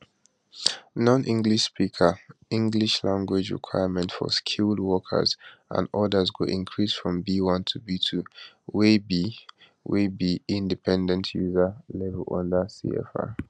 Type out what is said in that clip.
nonenglish speakers english language requirements for skilled workers and odas go increase from b1 to b2 wey be wey be independent user level under cefr